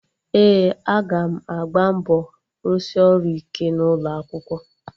Ee, aga m agba mbọ rụsị ọrụ ike n'ụlọ akwụkwọ